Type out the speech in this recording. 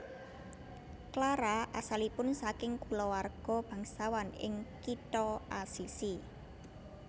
Clara asalipun saking kulawarga bangsawan ing kitha Asisi